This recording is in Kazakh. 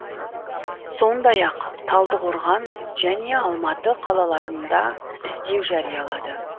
сондай ақ талдықорған және алматы қалаларында іздеу жариялады